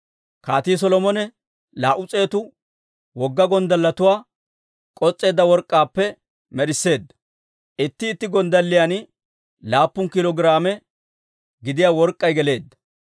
Kaatii Solomone laa"u s'eetu wogga gonddalletuwaa k'os's'eedda work'k'aappe med'isseedda; itti itti gonddalliyan laappun kiilo giraame gidiyaa work'k'ay geleedda.